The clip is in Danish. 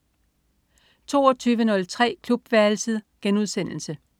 22.03 Klubværelset*